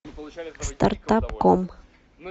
стартап ком